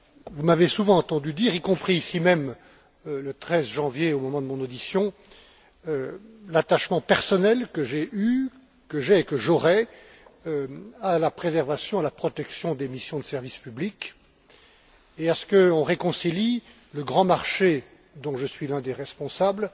Vous m'avez souvent entendu dire, y compris ici même le 13 janvier, au moment de mon audition, l'attachement personnel que j'ai eu, que j'ai et que j'aurai à la préservation et à la protection des missions de service public et à ce qu'on réconcilie le grand marché, dont je suis l'un des responsables,